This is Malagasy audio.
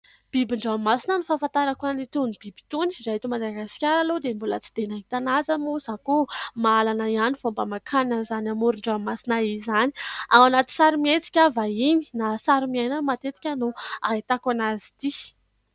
Bibin-dranomasina no fahafantarako an'itony biby itony. Raha eto Madagasikara aloha dia mbola tsy dia nahita azy aho ; moa koa, mahalana ihany vao mba mankany amin'izany amoron-dranomasina izany. Ao anaty sarimihetsika vahiny na sarimiaina matetika no ahitako azy ity.